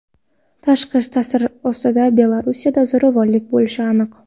Tashqi ta’sir ostida Belarusda zo‘ravonlik bo‘lishi aniq.